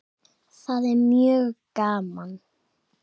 Það er mjög gaman.